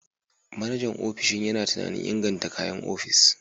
Manajan ofishin yana tunanin inganta kayan ofis.